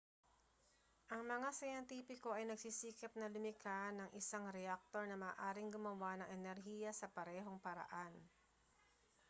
ang mga siyentipiko ay nagsisikap na lumikha ng isang reaktor na maaaring gumawa ng enerhiya sa parehong paraan